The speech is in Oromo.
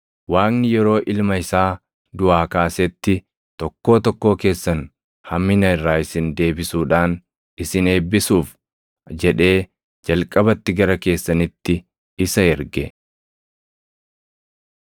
Waaqni yeroo Ilma isaa duʼaa kaasetti, tokkoo tokkoo keessan hammina irraa isin deebisuudhaan isin eebbisuuf jedhee jalqabatti gara keessanitti isa erge.”